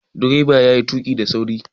Direban yayi tuƙi da sauri